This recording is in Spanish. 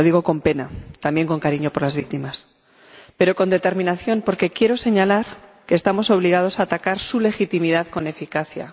Lo digo con pena —también, con cariño por las víctimas— pero con determinación, porque quiero señalar que estamos obligados a atacar su legitimidad con eficacia.